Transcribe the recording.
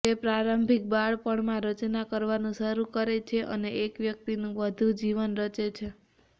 તે પ્રારંભિક બાળપણમાં રચના કરવાનું શરૂ કરે છે અને એક વ્યક્તિનું વધુ જીવન રચે છે